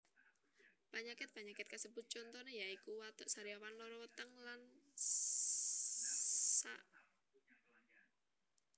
Panyakit panyakit kasebut contoné ya iku watuk sariawan lara weteng lsp